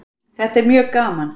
Þetta er mjög gaman